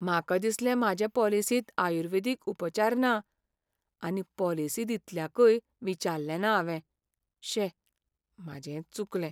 म्हाका दिसलें म्हाजे पॉलिसींत आयुर्वेदीक उपचार ना, आनी पॉलिसी दितल्याकय विचाल्लेंना हावें, शे, म्हाजेंच चुकलें.